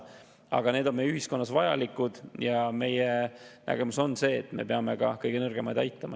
Aga need on meie ühiskonnas vajalikud ja meie nägemus on see, et me peame ka kõige nõrgemaid aitama.